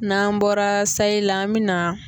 N'an bɔra sayi la an bɛ na